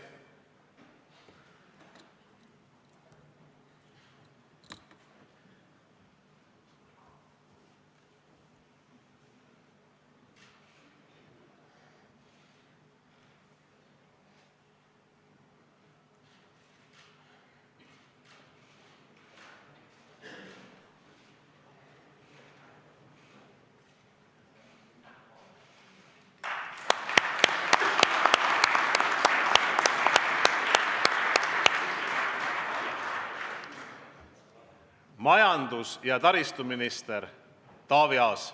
Majandus- ja taristuminister Taavi Aas.